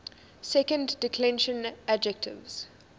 second declension adjectives